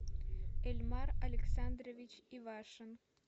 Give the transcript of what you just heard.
эльмар александрович ивашин